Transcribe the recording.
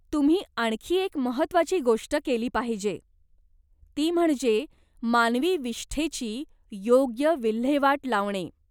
तुम्ही आणखी एक महत्त्वाची गोष्ट केली पाहिजे, ती म्हणजे मानवी विष्ठेची योग्य विल्हेवाट लावणे.